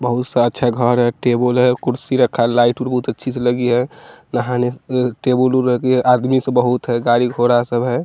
बहुत सा अच्छा घर है टेबुल हैं कुर्सी रखा हैं लाइट ऊ बहुत अच्छी सी लगी हैं नहाने उ टेबुलेल लगी है आदमी सब बहुत है गाड़ी घोड़ा सब हैं।